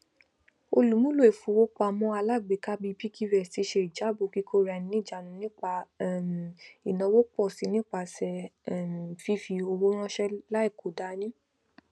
olùmúlò ifowópamọalágbèéká bíi piggyvest ṣe ijabọ kíkóaraẹniniìjánu nípa um ìnáwó pọ si nípasẹ um fífi owó ránṣẹ láì kò dání